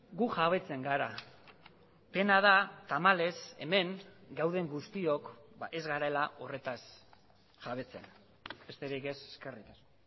gu jabetzen gara pena da tamalez hemen gauden guztiok ez garela horretaz jabetzen besterik ez eskerrik asko